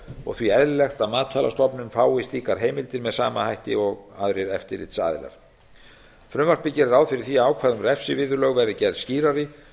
og því eðlilegt að matvælastofnun fái slíkar heimildir með sama hætti og aðrir eftirlitsaðilar frumvarpið gerir ráð fyrir því að ákvæði um refsiviðurlög verð